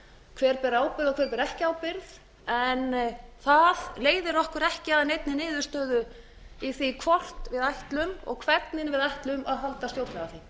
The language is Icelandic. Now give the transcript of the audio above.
hver ber ábyrgð og hver ber ekki ábyrgð en það leiðir okkur ekki að neinni niðurstöðu í því hvort við ætlum og hvernig við ætlum að halda stjórnlagaþing